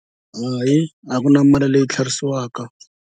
Hayi a ku na mali leyi yi tlherisiwaka.